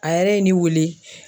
A yɛrɛ ye weele